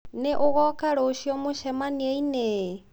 Nĩ ũgoka rũciũ mũcemanio-inĩ?